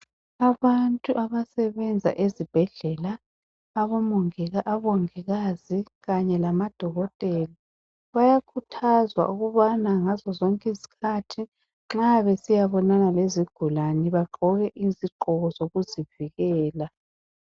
Abantu abasebenza ezibhedlela ,abongikazi Kanye lamadokotela . Bayakhuthazwa ukubana ngazo zonke izikhathi nxa besiyabonana lezigulane bagqoke izigqoko zokuzivikela.